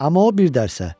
Amma o bir dərsə.